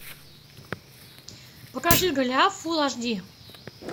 покажи голиаф фулл аш ди